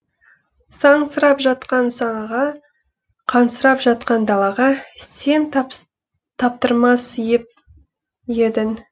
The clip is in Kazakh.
сансырап жатқан санаға қансырап жатқан далаға сен таптырмас еп едің